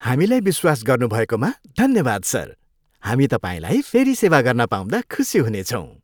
हामीलाई विश्वास गर्नुभएकोमा धन्यवाद सर। हामी तपाईँलाई फेरि सेवा गर्न पाउँदा खुसी हुनेछौँ।